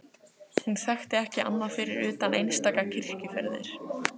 Hún þekkti ekki annað fyrir utan einstaka kirkjuferðir.